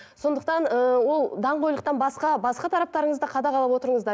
сондықтан ыыы ол даңғойлықтан басқа басқа тараптарыңызды қадағалап отырыңыздар